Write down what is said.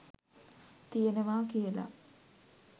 ති‍යෙනවා කියලා